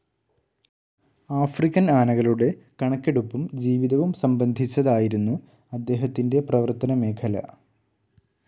African ആനകളുടെ കണക്കെടുപ്പും ജീവിതവും സംബന്ധിച്ചതായിരുന്നു അദ്ദേഹത്തിൻ്റെ പ്രവർത്തന മേഖല.